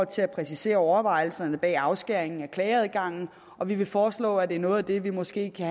til at præcisere overvejelserne bag afskæringen af klageadgangen og vi vil foreslå at det er noget af det vi måske kan